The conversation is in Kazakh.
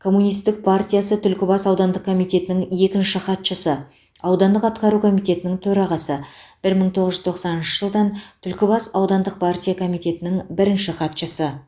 комунистік партиясы түлкібас аудандық комитетінің екінші хатшысы аудандық атқару комитетінің төрағасы бір мың тоғыз жүз тоқсаныншы жылдан түлкібас аудандық партия комитетінің бірінші хатшысы